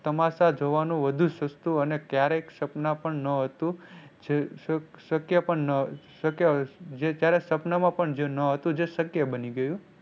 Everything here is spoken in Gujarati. તમાસા જોવાનું વધુ સસ્તું અને ક્યારેક સપના પણ ન હતું જે શક્ય પણ ન શક્ય હતું ત્યારે સપના માં પણ ના હતું જે શક્ય બની ગયું.